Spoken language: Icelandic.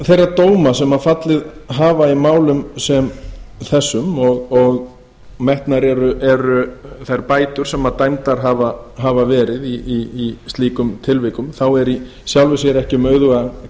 þeirra dóma sem fallið hafa í málum sem þessum og metnar eru þær bætur sem dæmdar hafa verið í slíkum tilvikum þá er í sjálfu sér ekki